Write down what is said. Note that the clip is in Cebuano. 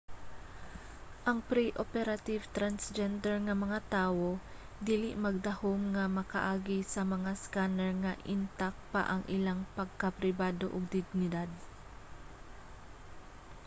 ang pre-operative transgender nga mga tawo dili magdahum nga makaagi sa mga scanner nga intak pa ang ilang pagkapribado ug dignidad